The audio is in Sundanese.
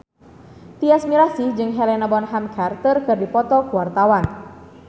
Tyas Mirasih jeung Helena Bonham Carter keur dipoto ku wartawan